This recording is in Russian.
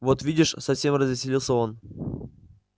вот видишь совсем развеселился он